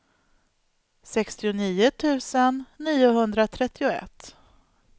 sextionio tusen niohundratrettioett